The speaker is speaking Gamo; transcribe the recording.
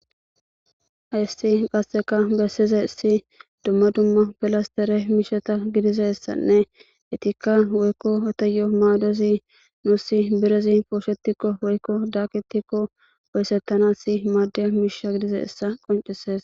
Hayssi qasseka bessizaysi dumma dumma pilastere miisheta gidizessanne etikka woykko eteyo maadozi nussi birezi pooshetikko woykko daakitikko woysettana maadiya miisha gidizissa qoncises.